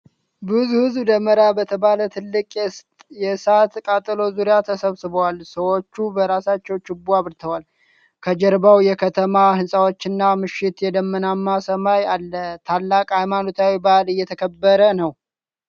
ብዙ ሕዝብ ደመራ በተባለ ትልቅ የእሳት ቃጠሎ ዙሪያ ተሰብስቧል። ሰዎች በራሳቸው ችቦ አብርተዋል። ከጀርባው የከተማ ህንፃዎችና ምሽት የደመናማ ሰማይ አለ። ታላቅ ሃይማኖታዊ በዓል እየተከበረ ነው።